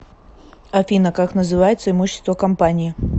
афина как называется имущество компании